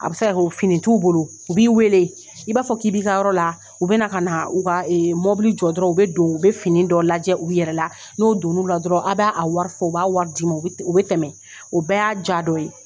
A bɛ se kɛ fini t'u bolo u b'i weele i b'a fɔ k'i bɛ ka yɔrɔ la u bɛ na ka na u ka mɔbili jɔ dɔrɔn u bɛ don u bɛ fini dɔ lajɛ u yɛrɛ la n'o don n'ula dɔrɔn a b'a a wari fɔ u b'a wari d'i ma u bɛ tɛmɛ o bɛɛ y'a jaa dɔ ye.